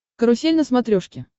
карусель на смотрешке